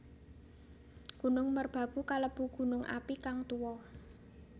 Gunung Merbabu kalebu gunung api kang tuwa